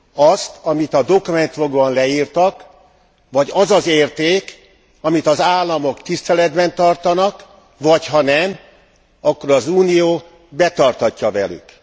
Azt, amit a dokumentumokban leírtak, vagy az az érték, amit az államok tiszteletben tartanak, vagy ha nem, akkor az Unió betartatja velük.